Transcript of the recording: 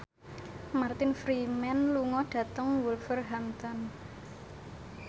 Martin Freeman lunga dhateng Wolverhampton